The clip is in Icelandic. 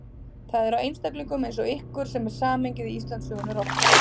Það er á einstaklingum eins og ykkur sem samhengið í Íslandssögunni rofnar.